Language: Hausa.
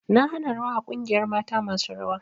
Na hana rawa a ƙungiyar mata masu rawa!